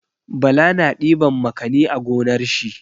Bala na ɗiban makani a gonar shi.